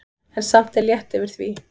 En samt er létt yfir því.